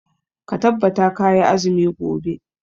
Ka tabbata kayi azumi gobe.